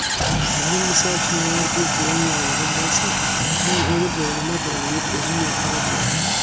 Mənim misal üçün əgər bir boyun yaylığın varsa, mən onu boynuma dolayıb özümlə apara bilərəm.